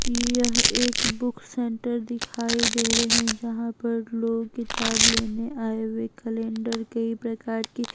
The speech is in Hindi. यह एक बुक सेंटर दिखाई दे रहे हैं जहां पर लोग किताब लेने आए हुए कैलेंडर कई प्रकार की--